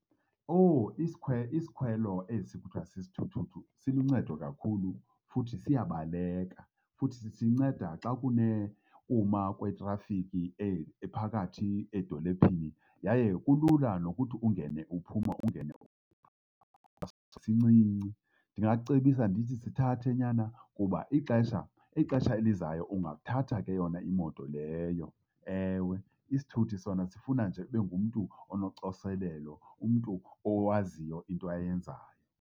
Owu, isikhwelo esi kuthiwa sisithuthuthu siluncedo kakhulu futhi siyabaleka. Futhi sinceda xa kunekuma kwetrafiki ephakathi edolophini, yaye kulula nokuthi ungene uphuma, ungene uphuma, sincinci. Ndingakucebisa ndithi sithathe nyana kuba ixesha, ixesha elizayo ungathatha ke yona imoto leyo. Ewe, isithuthi sona sifuna nje ube ngumntu onocoselelo, umntu owaziyo into ayenzayo.